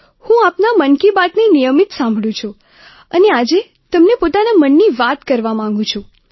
હું આપના મન કી બાતને નિયમિત સાંભળું છું અને આજે તમને પોતાના મનની વાત કરવા માગું છું